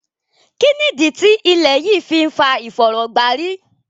Kínnídí tí ilẹ̀ yí fì n fà ìfọ̀rọ̀gbàrí?